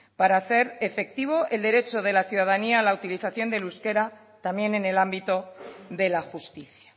para hacer efectivo el derecho de la ciudadanía a la utilización del euskera también en el ámbito de la justicia